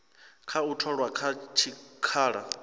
kha u tholwa kha tshikhala